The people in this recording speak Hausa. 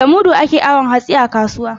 Da mudu ake awon hatsi a kasuwa.